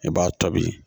I b'a tobi